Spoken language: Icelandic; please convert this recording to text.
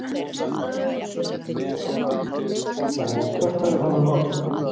Jóhann: Og hvert ferðu þá með málið?